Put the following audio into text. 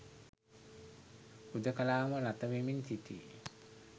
හුදකලාවම ළතවෙමින් සිටියි